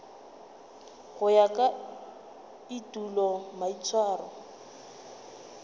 go ya ka etulo maitshwaro